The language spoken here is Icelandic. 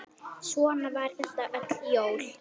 Svona var þetta öll jól.